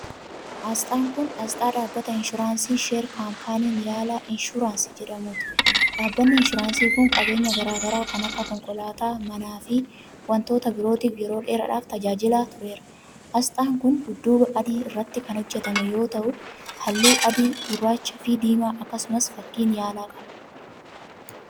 Asxaan kun, asxaa dhaabbata inshuraansii sheer kaampaanii Niyaalaa Inshuraansii jedhamuuti. Dhaabbanni inshuraansii kun, qabeenya garaa garaa kan akka:konkolaataa, mana fi wantoota birootif yeroo dheeraadhaaf tajaajilaa tureera. Asxaan kun, dudduuba adii irratt kan hojjatame yoo ta'u, haalluu adii, gurraacha fi diimaa akkasumas fakkii niyaalaa qaba.